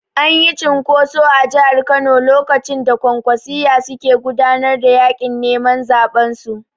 Anyi cunkoso a Jahar Kano lokacin da Kwankwasiyya suke gudanar da yaƙin neman zaɓen su